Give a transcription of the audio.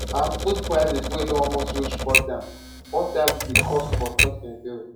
and food prices wey don almost reach four times four times di cost for 2023